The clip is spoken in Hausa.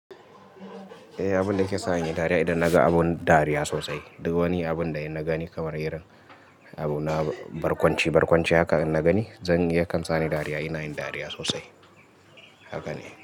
Eh, abun da yake sa iyi dariya idan naga abu dariya sosai. Duk wani abun da ina gani kawar irin abu na barkwanci barkwanci haka ina gani, zan iya kansane dariya. Ina yin dariya sosai haka ne.